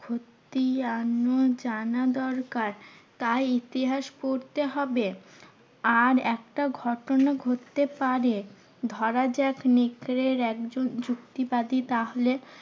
খতিয়ান জানা দরকার। তাই ইতিহাস পড়তে হবে আর একটা ঘটনা ঘটতে পারে, ধরা যাক নেকড়ের একজন যুক্তিবাদী তাহলে